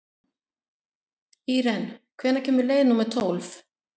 Íren, hvenær kemur leið númer tólf?